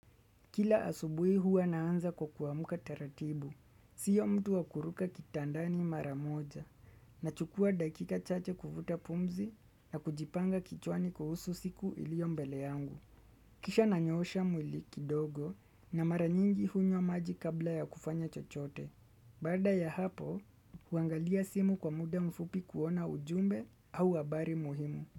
Kila asubui huwa naanza kwa kuamuka taratibu, siyo mtu wakuruka kitandani maramoja, nachukua dakika chache kuvuta pumzi na kujipanga kichwani kuhusu siku iliyo mbele yangu. Kisha nanyoosha mwili kidogo na maranyingi hunywa maji kabla ya kufanya chochote. Bada ya hapo, huangalia simu kwa muda mfupi kuona ujumbe au habari muhimu.